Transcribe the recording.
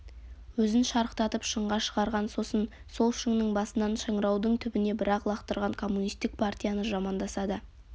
өзін шарықтатып шыңға шығарған сосын сол шыңның басынан шыңыраудың түбіне бір-ақ лақтырған коммунистік партияны жамандаса да